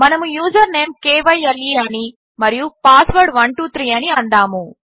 మనము user name Kyle అని మరియు పాస్వర్డ్ 123 అని అందాము